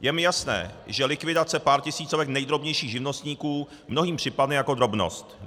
Je mi jasné, že likvidace pár tisícovek nejdrobnějších živnostníků mnohým připadne jako drobnost.